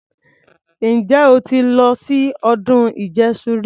Ǹjẹ́ o ti lọ sí ọdún ìjẹṣu rí?